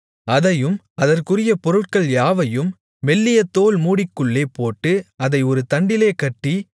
அதையும் அதற்குரிய பொருட்கள் யாவையும் மெல்லிய தோல் மூடிக்குள்ளே போட்டு அதை ஒரு தண்டிலே கட்டி